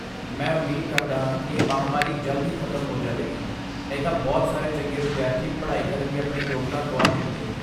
ਮੈਂ ਉਮੀਦ ਕਰਦਾ ਹਾਂ ਕਿ ਇਹ ਮਹਾਂਮਾਰੀ ਜਲਦ ਹੀ ਖਤਮ ਹੋ ਜਾਵੇਗੀ, ਨਹੀਂ ਤਾਂ ਬਹੁਤ ਸਾਰੇ ਚੰਗੇ ਵਿਦਿਆਰਥੀ ਪੜ੍ਹਾਈ ਕਰਨ ਦੀ ਆਪਣੀ ਯੋਗਤਾ ਗੁਆ ਦੇਣਗੇ।